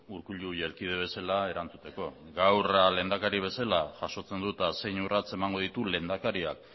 urkullu jelkide bezala erantzuteko gaur lehendakari bezala jasotzen dut eta zein urrats emango ditu lehendakariak